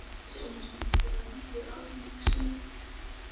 Aðeins einusinni fór hann aftur til Alexandríu.